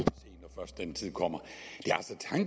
den tid kommer